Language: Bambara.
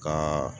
Ka